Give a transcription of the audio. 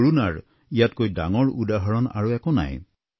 কৰুণাৰ ইয়াতকৈ ডাঙৰ উদাহৰণ আৰু একো নাই